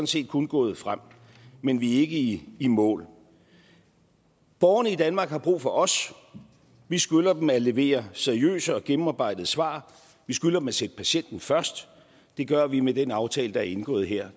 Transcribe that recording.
set kun gået fremad men vi er ikke i mål borgerne i danmark har brug for os vi skylder dem at levere seriøse og gennemarbejdede svar vi skylder dem at sætte patienten først det gør vi med den aftale der er indgået her